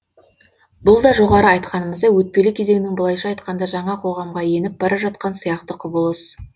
бұл да жоғары айтқанымыздай өтпелі кезеңнің былайша айтқанда жаңа қоғамға еніп бара жатқан сияқты құбылыс